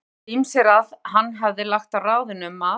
Töldu ýmsir að hann hefði lagt á ráðin um að